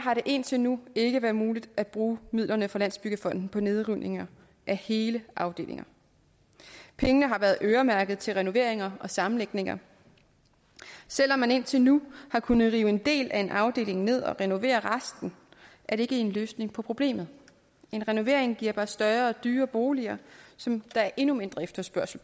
indtil nu ikke været muligt at bruge midlerne fra landsbyggefonden på nedrivninger af hele afdelinger pengene har været øremærket til renoveringer og sammenlægninger selv om man indtil nu har kunnet rive en del af en afdeling ned og renovere resten er det ikke en løsning på problemet en renovering giver bare større og dyrere boliger som der er endnu mindre efterspørgsel